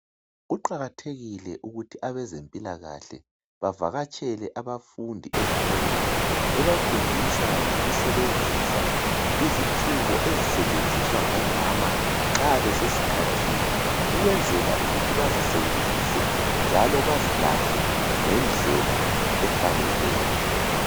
Kuqakathekile ukuthi abezempilakahle bavakatshele abafundi ezikolweni bebafundisa ngokusebenzisa izitshubo ezisetshenziswa ngomama nxa besesikhathini ukwenzela ukuthi bazisebenzise njalo bazilahle ngendlela efaneleyo.